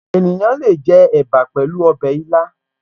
Ènìyàn le è jẹ ẹ̀bà pẹ̀lú ọbẹ̀ ilá